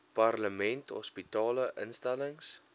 parlement hospitale instellings